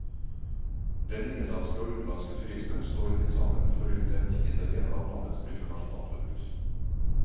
Den innenlandske og utenlandske turismen står tilsammen for rundt en tiendedel av landets bruttonasjonalprodukt.